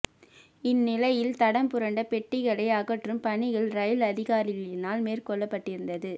இந்நிலையில் தடம் புரண்ட பெட்டிகளை அகற்றும் பணிகள் ரயில் அதிகாரிகளினால் மேற்கொள்ளப்பட்டிருந்து